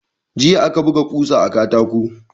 Jiya aka buga kusa da katako.